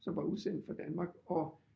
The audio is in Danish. Som var udsendt for Danmark og